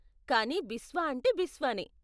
కానీ బిస్వా అంటే బిస్వా నే.